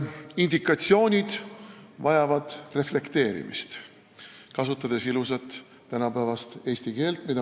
Kasutades ilusat tänapäevast eesti keelt, tahan öelda, et indikatsioonid vajavad reflekteerimist.